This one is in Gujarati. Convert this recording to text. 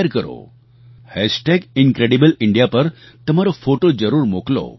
Incredible India hashtag incredible India પર તમારો ફોટો જરૂર મોકલો